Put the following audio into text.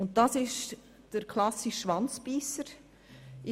Hier liegt ein klassischer «Schwanzbeisser» vor: